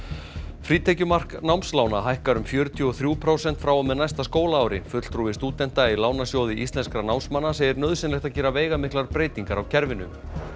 frítekjumark námslána hækkar um fjörutíu og þrjú prósent frá og með næsta skólaári fulltrúi stúdenta í Lánasjóði íslenskra námsmanna segir nauðsynlegt að gera veigamiklar breytingar á kerfinu